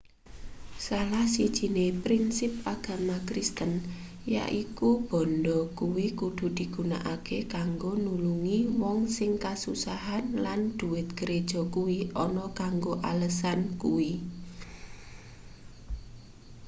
salah sijine prinsip agama kristen yaiku bandha kuwi kudu digunakake kanggo nulungi wong sing kasusahan lan dhuwit gereja kuwi ana kanggo alesan kuwi